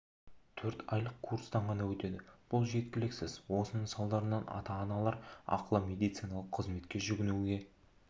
төрт айлық курстан ғана өтеді бұл жеткіліксіз осының салдарынан ата-аналар ақылы медициналық қызметке жүгінуге